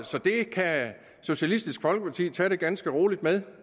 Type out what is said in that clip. så det kan socialistisk folkeparti tage det ganske roligt med